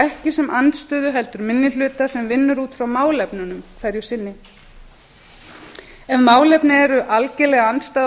ekki sem andstöðu heldur minni hluta sem vinnur út frá málefnunum hverju sinni ef málefni eru algerlega andstæð